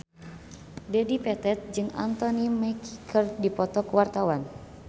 Dedi Petet jeung Anthony Mackie keur dipoto ku wartawan